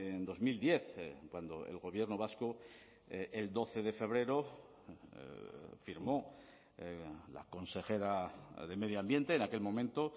en dos mil diez cuando el gobierno vasco el doce de febrero firmó la consejera de medio ambiente en aquel momento